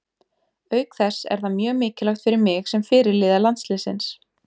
Auk þess er það mjög mikilvægt fyrir mig sem fyrirliða landsliðsins.